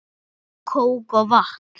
Kók og vatn